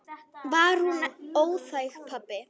Var hún óþæg, pabbi?